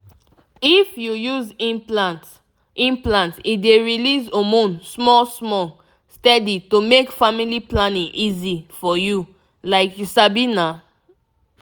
if you use implant implant e dey release hormone small-small steady to make family planning easy for you — like you sabi na.